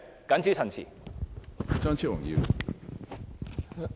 謹此陳辭。